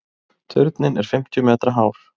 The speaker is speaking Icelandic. Turninn er fimmtíu metra hár.